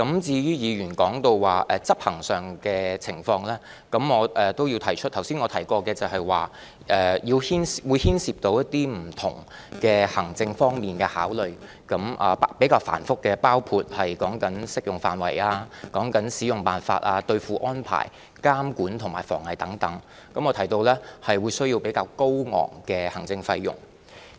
至於議員提及執行上的情況，我也要指出，我剛才提及有關建議會牽涉不同行政方面的考慮，比較繁複，包括訂定適用範圍、使用辦法、兌付安排、監管和防偽措施等，我也提及可能需要比較高昂的行政費用。